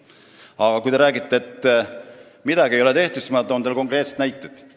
Aga kui te räägite, et midagi ei ole tehtud, siis ma toon teile konkreetsed näited.